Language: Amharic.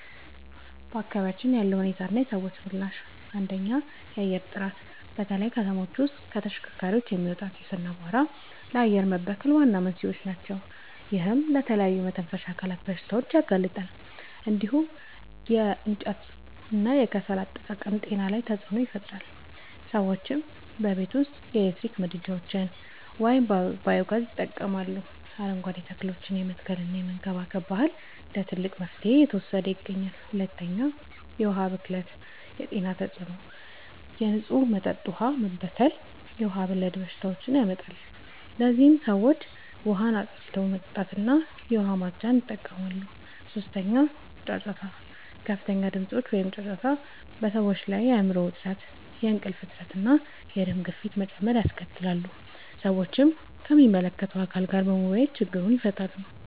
በአካባቢያችን ያለው ሁኔታና የሰዎች ምላሽ፦ 1. የአየር ጥራት፦ በተለይ ከተሞች ውስጥ ከተሽከርካሪዎች የሚወጣ ጢስ እና አቧራ ለአየር መበከል ዋና መንስኤዎች ናቸው። ይህም ለተለያዩ የመተንፈሻ አካላት በሽታዎች ያጋልጣል። እንዲሁም የማገዶ እንጨትና የከሰል አጠቃቀም ጤና ላይ ተጽዕኖ ይፈጥራል። ሰዎችም በቤት ውስጥ የኤሌክትሪክ ምድጃዎችን ወይም ባዮ-ጋዝ ይጠቀማሉ፣ አረንጓዴ ተክሎችን የመትከልና የመንከባከብ ባህል እንደ ትልቅ መፍትሄ እየተወሰደ ይገኛል። 2. የዉሀ ብክለት የጤና ተጽዕኖ፦ የንጹህ መጠጥ ውሃ መበከል የውሃ ወለድ በሽታዎችን ያመጣል። ለዚህም ሰዎች ውሃን አፍልቶ መጠጣትና የዉሃ ማፅጃን ይጠቀማሉ። 3. ጫጫታ፦ ከፍተኛ ድምጾች (ጫጫታ) በሰዎች ላይ የአይምሮ ዉጥረት፣ የእንቅልፍ እጥረት፣ እና የደም ግፊት መጨመር ያስከትላል። ሰዎችም ከሚመለከተዉ አካል ጋር በመወያየት ችግሩን ይፈታሉ።